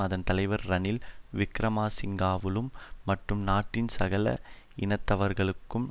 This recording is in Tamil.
அதன் தலைவர் ரணில் விக்கிரமசிங்கவாலும் மட்டும் நாட்டின் சகல இனத்தவர்களுக்கும்